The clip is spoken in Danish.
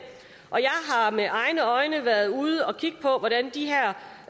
og jeg har med egne øjne været ude at kigge på hvordan de her